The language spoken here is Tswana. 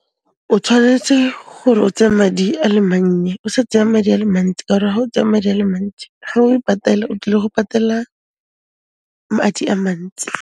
O tshwanetse gore o tseye madi a le mannye, o sa tseya madi a le mantsi ka ore ga o tsaya madi a le mantsi, ga o e patela, o tlile go patela madi a mantsi.